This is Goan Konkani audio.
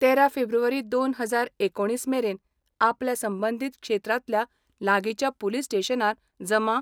तेरा फेब्रुवारी दोन हजार एकुणीस मेरेन आपल्या संबंदीत क्षेत्रातल्या लागीच्या पुलीस स्टेशनार जमा